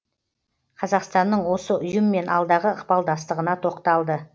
қазақстанның осы ұйыммен алдағы ықпалдастығына тоқталды